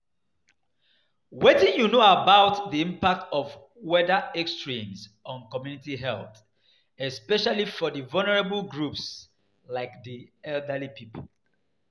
Wetin you know about di impact of weather extremes on community health, especially for vulnerable groups like di elderly people.